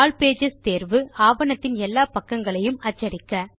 all pages தேர்வு ஆவணத்தின் எல்லா பக்கங்களையும் அச்சடிக்க